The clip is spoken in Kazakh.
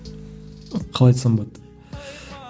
қалай айтсам болады